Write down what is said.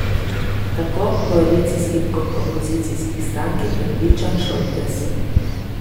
Tako koalicijskih kot opozicijskih strank, je prepričan Šoltes.